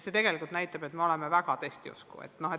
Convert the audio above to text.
See tegelikult näitab, et me oleme väga testiusku.